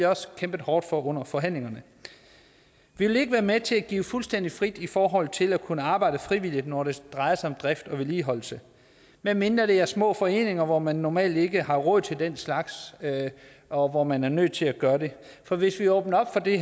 også kæmpet hårdt for at få under forhandlingerne vi vil ikke være med til at give det fuldstændig fri i forhold til at kunne arbejde frivilligt når det drejer sig om drift og vedligeholdelse medmindre det er små foreninger hvor man normalt ikke har råd til den slags og hvor man er nødt til at gøre det for hvis vi åbner op for det